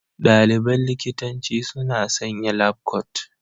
Ɗaliban likitanci suna sanya labkot.